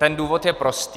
Ten důvod je prostý.